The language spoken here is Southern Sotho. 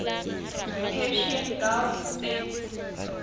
persian gulf states